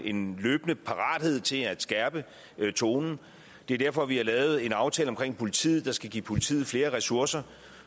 en løbende parathed til at skærpe tonen det er derfor vi har lavet en aftale om politiet der skal give politiet flere ressourcer